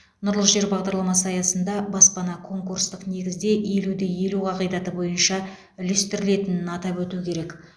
нұрлы жер бағдарламасы аясында баспана конкурстық негізде елу де елу қағидаты бойынша үлестірілетінін атап өту керек